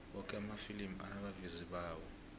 woke amafilimi anabavezi bawo